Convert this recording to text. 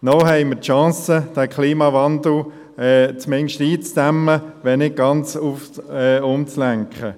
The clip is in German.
Noch haben wir die Chance, den Klimawandel zumindest einzudämmen, wenn nicht ganz umzulenken.